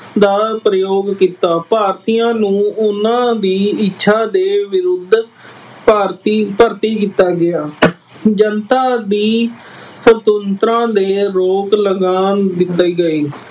ਦਾ ਪ੍ਰਯੋਗ ਕੀਤਾ। ਭਾਰਤੀਆਂ ਨੂੰ ਉਹਨਾ ਦੀ ਇੱਛਾ ਦੇ ਵਿਰੁੱਧ ਭਾਰਤੀ ਭਰਤੀ ਕੀਤਾ ਗਿਆ। ਜਨਤਾ ਦੀ ਸੁਤੰਤਰਤਾ ਤੇ ਰੋਕ ਲਗਾਉਣ ਦਿੰਦੇ ਗਏ।